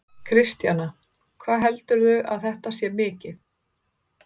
Kristjana: Hvað heldurðu að þetta sé mikið?